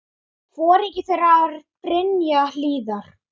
Foringi þeirra var Brynja Hlíðar.